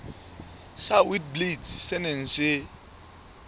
sa witblits se neng se